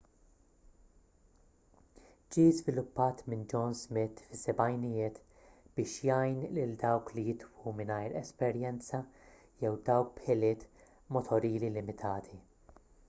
ġie żviluppat minn john smith fis-sebgħinijiet biex jgħin lil dawk li jitwu mingħajr esperjenza jew dawk b'ħiliet motorili limitati